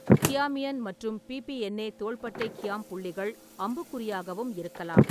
கியாமியன் மற்றும் பி. பி. என்-ஏ தோள்பட்டை கியாம்-புள்ளிகள் அம்புக்குறியாகவும் இருக்கலாம்.